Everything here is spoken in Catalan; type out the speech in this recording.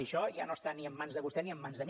i això ja no està ni en mans de vostè ni en mans de mi